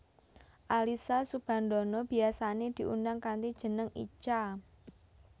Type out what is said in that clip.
Alyssa Soebandono biyasané diundang kanthi jeneng Icha